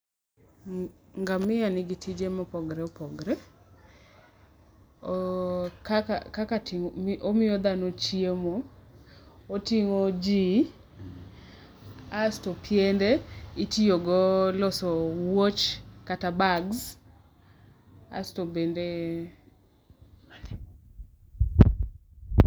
Ngamia nigi tije ma opogore opogore, kaka timo, omiyo dhano chiemo, oting'o ji asto piende itiyo go loso wuoch kata bags asto bende.